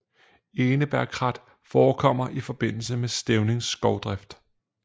Enebærkrat forekommer i forbindelse med stævningsskovdrift